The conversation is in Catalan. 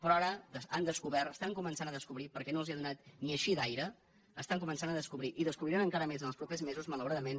però ara han descobert estan començant a descobrir perquè no els ha donat ni així d’aire estan començant a descobrir i descobriran encara més els propers mesos malauradament